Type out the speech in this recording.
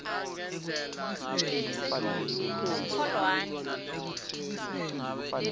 kholwane